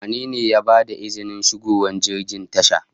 Wane ne ya bada izinin shigowar jirgin tasha?